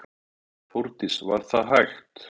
Þórdís: var það hægt?